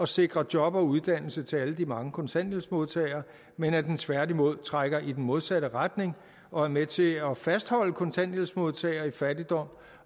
sikre job og uddannelse til alle de mange kontanthjælpsmodtagere men at den tværtimod trækker i den modsatte retning og er med til at fastholde kontanthjælpsmodtagere i fattigdom